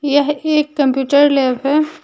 यह एक computer lab है।